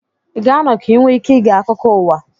ị ga-anọ ka ị nwee ike ige akụkọ ụwa